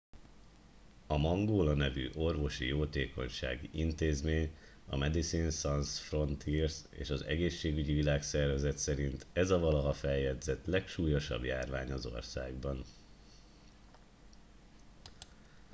a mangola nevű orvosi jótékonysági intézmény a medicines sans frontieres és az egészségügyi világszervezet szerint ez a valaha feljegyzett legsúlyosabb járvány az országban